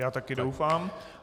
Já taky doufám.